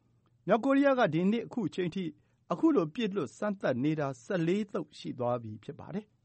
။ မြောက်ကိုရီးယားက ဒီနှစ် ခုအချိန်ထိ ခုလို ပစ်လွှတ်စမ်းသပ်နေတာ ၁၄ သုတ် ရှိသွားပြီ ဖြစ်ပါတယ်။